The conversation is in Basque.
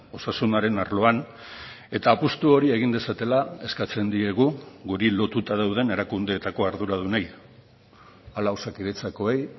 osasunaren arloan eta apustu hori egin dezatela eskatzen diegu guri lotuta dauden erakundeetako arduradunei hala osakidetzakoei